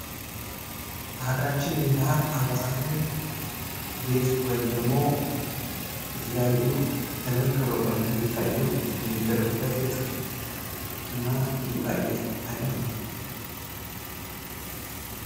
በሃገራችን የባህል አልባሳት ላይ ጥ ወይም ደሞ የተለያዩ ድምቅ ብለው እንዲታዩ የሚደረጉበት የጥልፍ እና የጌጣጌጥ አይነት ነው።